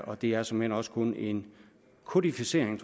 og det er såmænd også kun en kodificering